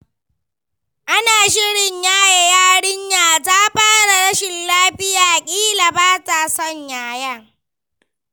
Ana shirin yaye yarinya ta fara rashin lafiya, kila ba ta son yayen.